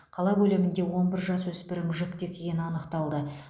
қала көлемінде он бір жасөспірім жүкті екені анықталды